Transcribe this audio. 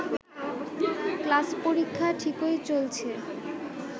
class পরীক্ষা ঠিকই চলছে